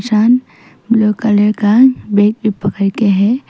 Blue colour का bag भी पकड़ के है।